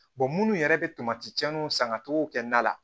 minnu yɛrɛ bɛ tomatiw san ka togow kɔnɔna la